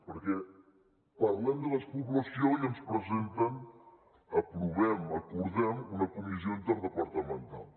perquè parlem de despoblació i ens presenten aprovem acordem una comissió interdepartamental